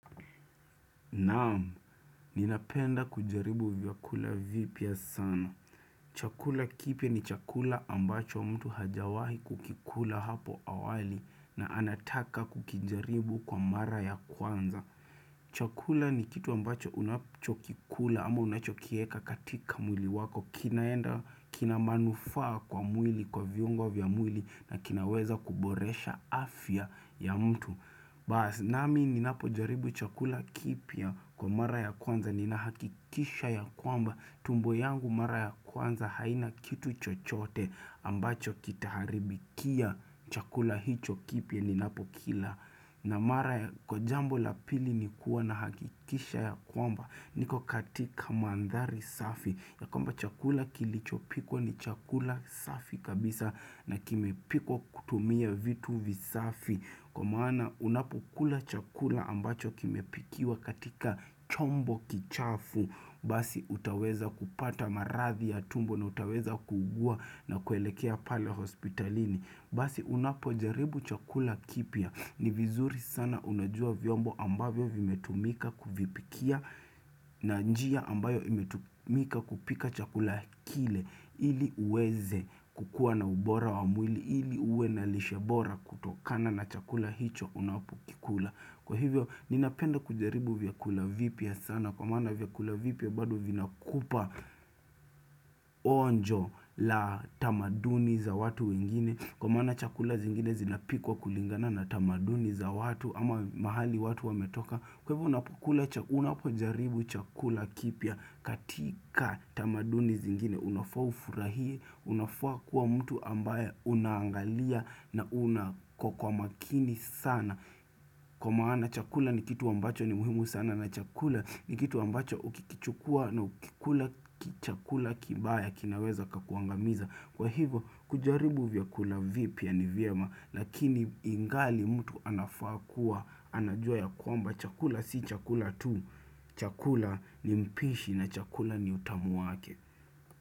Naam, ninapenda kujaribu vyakula vipya sana. Chakula kipya ni chakula ambacho mtu hajewahi kukikula hapo awali na anataka kukijaribu kwa mara ya kwanza. Chakula ni kitu ambacho unachokikula ama unachokieka katika mwili wako kinaenda kina manufaa kwa mwili kwa vyungo vya mwili na kinaweza kuboresha afya ya mtu. Baas namininapo jaribu chakula kipya kwa mara ya kwanza ninahakikisha ya kwamba tumbo yangu mara ya kwanza haina kitu chochote ambacho kitaharibikia chakula hicho kipya ninapo kila. Namara kwa jambo la pili ni kuwa na hakikisha ya kwamba niko katika mandhari safi ya kwamba chakula kilichopiko ni chakula safi kabisa na kimepikwa kutumia vitu visafi Kwa maana unapokula chakula ambacho kimepikiwa katika chombo kichafu Basi hutaweza kupata marathi ya tumbo na utaweza kuugua na kuelekea pale hospitalini Basi unapojaribu chakula kipia ni vizuri sana unajua vyombo ambavyo vimetumika kuvipikia na njia ambayo vimetumika kupika chakula kile ili uweze kukua na ubora wa mwili ili uwe na lishebora kutokana na chakula hicho unapokikula. Kwa hivyo, ninapenda kujaribu vyakula vipya sana. Kwa maana vyakula vipya bado vinakupa onjo la tamaduni za watu wengine. Kwa maana chakula zingine zinapikwa kulingana na tamaduni za watu ama mahali watu wametoka. Kwa hivyo, unapojaribu chakula kipya katika tamaduni zingine. Unafua ufurahie, unafua kuwa mtu ambaye unaangalia na una kwa kwa makini sana Kwa maana chakula ni kitu ambacho ni muhimu sana na chakula ni kitu ambacho uki kichukua na ukikula chakula kibaya kinaweza kakuangamiza Kwa higo kujaribu vyakula vipya ni vyema lakini ingali mtu anafua kuwa anajua ya kwamba chakula si chakula tu chakula ni mpishi na chakula ni utamu wake.